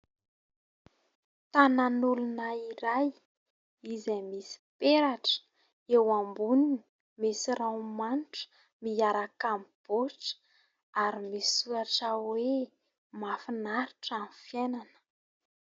Tanan'olona iray izay misy peratra eo amboniny, misy ranomanitra miaraka amin'ny baotra, ary misy soratra hoe mahafinaritra ny fiainana.